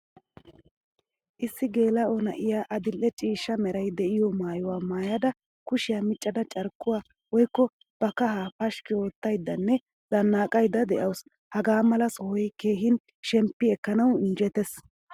Issi gelao na'iyaa adil'e ciishshaa meray deiyo maayuwaa maayda kushiya miccada carkkuwaa woykko ba kahaa pashki oottaydanne zannaqaydda deawusu. Hagaamala sohoy keehin shemppi ekkanawu injjetees.